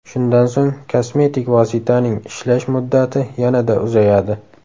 Shundan so‘ng kosmetik vositaning ishlash muddati yanada uzayadi.